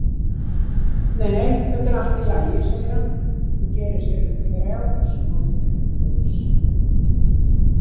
Nei, nei, þetta er allt í lagi, segir hann og gerir sér upp frjálsmannlegt bros.